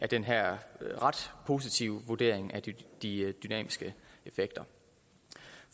den her ret positive vurdering af de dynamiske effekter